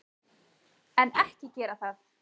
En, ekki gera það!